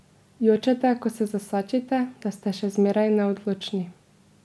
Jočete, ko se zasačite, da ste še zmeraj neodločni.